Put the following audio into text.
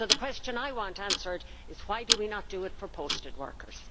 So the question I want answered is why do we not do it for posted workers?